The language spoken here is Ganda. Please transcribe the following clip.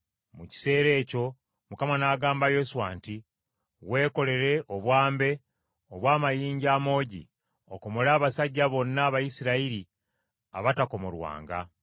Mu kiseera ekyo Mukama n’agamba Yoswa nti, “Weekolere obwambe obw’amayinja amoogi, okomole abasajja bonna Abayisirayiri abatakomolwanga.”